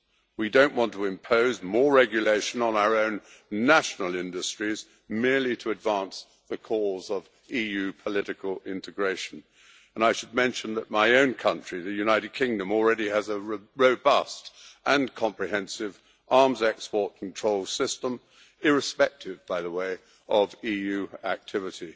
We don't want to impose more regulation on our own national industries merely to advance the cause of EU political integration, and I should mention that my own country, the United Kingdom, already has a robust and comprehensive arms export control system irrespective, by the way, of EU activity.